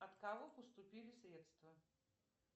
от кого поступили средства